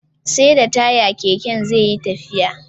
SAi da taya Keke zeyi tafiya